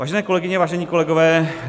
Vážené kolegyně, vážení kolegové.